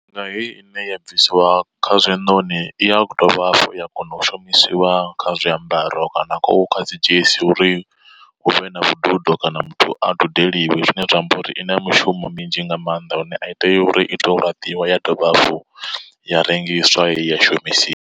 Nga heyi ine ya bvisiwa kha zwiṋoni i ya dovha hafhu ya kona u shumisiwa kha zwiambaro kana khou kha dzi dzhenisi uri huvhe na vhududo kana muthu a dudeliwe. Zwine zwa amba uri i na mishumo minzhi nga maanḓa lune a i tei uri ito u laṱiwa ya dovha hafhu ya rengiswa ya shumisiwa.